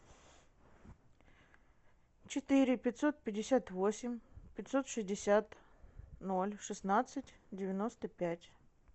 четыре пятьсот пятьдесят восемь пятьсот шестьдесят ноль шестнадцать девяносто пять